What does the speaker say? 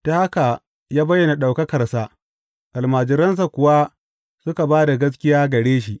Ta haka ya bayyana ɗaukakarsa, almajiransa kuwa suka ba da gaskiya gare shi.